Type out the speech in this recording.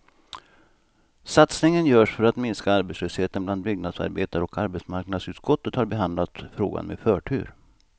Satsningen görs för att minska arbetslösheten bland byggnadsarbetare och arbetsmarknadsutskottet har behandlat frågan med förtur.